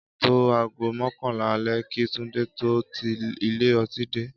Á tó aago mọ́kànlá alẹ́ kí Tunde tó ti ilé ọtí dé